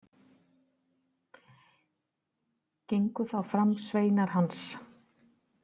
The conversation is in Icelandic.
Gengu þá fram sveinar hans.